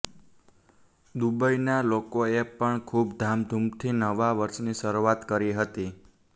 દુબઈના લોકોએ પણ ખુબ ધામધુમથી નવા વર્ષની શરૂઆત કરી હતી